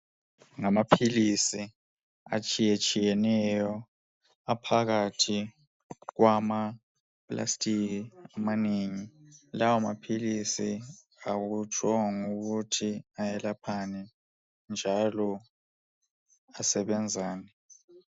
Ngamaphilisi etshiyetshiyeneyo aphakathi kwamaplastiki amanengi lawa maphilisi akutshongo ukuthi ayelaphani njalo asebenzani.